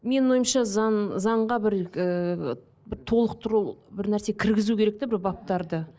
менің ойымша заң заңға бір ыыы бір толықтыру бір нәрсе кіргізу керек те бір баптарды